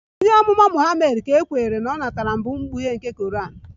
Onye Amụma Muhammad ka e kweere na o natara mbụ mkpughe nke Koran